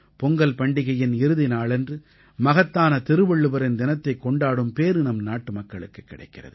பொங்கல் பண்டிகையின் இறுதி நாளன்று மகத்தான திருவள்ளுவரின் தினத்தைக் கொண்டாடும் பேறு நம் நாட்டுமக்களுக்குக் கிடைக்கிறது